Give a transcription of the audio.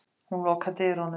Hún lokar dyrunum.